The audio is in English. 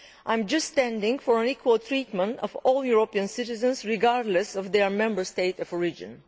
I am simply standing up for equal treatment for all European citizens, regardless of their Member State of origin.